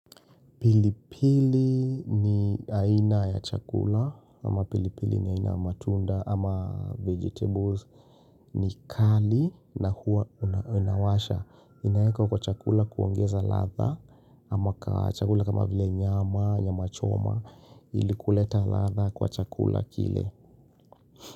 Pilipili ni aina ya chakula ama pilipili ni aina ya matunda ama vegetables ni kali na huwa unawasha. Inawekwa kwa chakula kuongeza ladha ama kwa chakula kama vile nyama nyamachoma ili kuleta ladha kwa chakula kile.